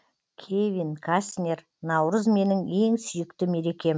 кевин кастнер наурыз менің ең сүйікті мерекем